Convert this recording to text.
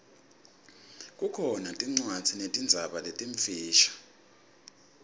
kukhona tincwadzi tetinzaba letimfisha